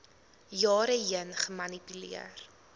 jare heen gemanipuleer